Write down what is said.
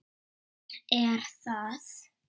Hér er það!